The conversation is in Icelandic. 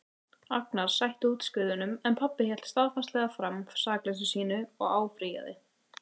Agnar sætti úrskurðinum en pabbi hélt staðfastlega fram sakleysi sínu og áfrýjaði.